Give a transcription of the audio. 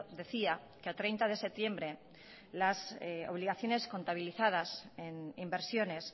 decía que a treinta de septiembre las obligaciones contabilizadas en inversiones